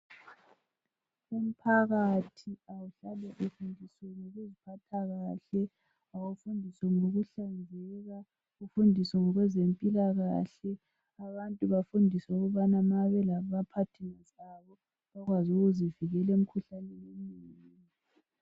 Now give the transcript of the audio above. Umphakathi awuhlale ufundisiwe ngokuziphatha kahle abafundiswe ngokuhlanzeka befundiswe ngezempilakahle abantu bafundiswe ukubana nxa belama partners abo bakwazi ukuzivikela emikhuhlaneni eminenginengi